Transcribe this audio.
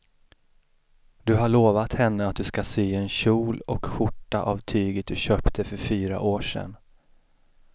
Du har lovat henne att du ska sy en kjol och skjorta av tyget du köpte för fyra år sedan.